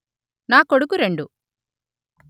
నా కొడుకు రెండు